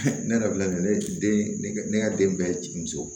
ne yɛrɛ filɛ nin ye ne den ne ka den bɛɛ ye muso ye